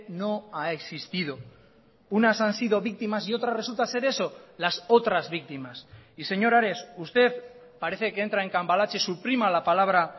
no ha existido unas han sido víctimas y otras resulta ser eso las otras víctimas y señor ares usted parece que entra en cambalache suprima la palabra